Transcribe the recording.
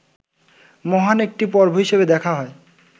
মহান একটি পর্ব হিসাবে দেখা হয়